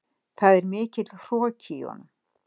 Það er mikill hroki í honum.